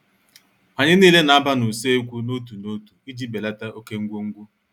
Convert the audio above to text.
Anyị nile na- aba n' uso ekwu n' otu n' otu iji belata oké ngwo ngwo.